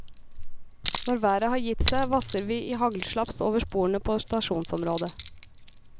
Når været har gitt seg vasser vi i haglslaps over sporene på stasjonsområdet.